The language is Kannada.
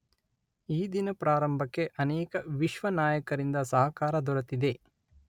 ಈ ದಿನ ಪ್ರಾರಂಭಕ್ಕೆ ಅನೇಕ ವಿಶ್ವ ನಾಯಕರಿಂದ ಸಹಕಾರ ದೊರೆತಿದೆ.